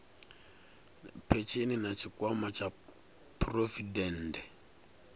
phesheni na tshikwama tsha phurovidende